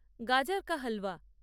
গাজর কা হালওয়া